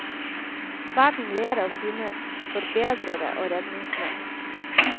Verden ler av sine forbedrere og redningsmenn.